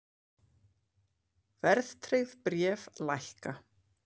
Verðtryggð bréf lækka